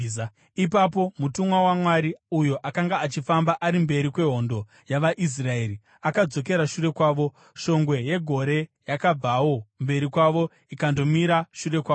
Ipapo mutumwa waMwari, uyo akanga achifamba ari mberi kwehondo yavaIsraeri, akadzokera shure kwavo. Shongwe yegore yakabvawo mberi kwavo ikandomira shure kwavo,